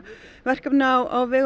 verkefni á vegum